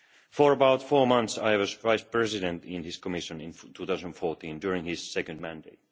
For about four months I was Vice President in this Commission in 2014, during his second mandate.